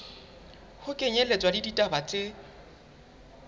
ho kenyelletswa le ditaba tse